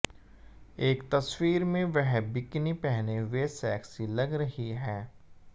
एक तस्वीर में वह बिकिनी पहने हुए सेक्सी लग रहीं हैं